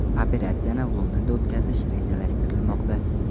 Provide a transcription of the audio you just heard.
Operatsiyani Londonda o‘tkazish rejalashtirilmoqda.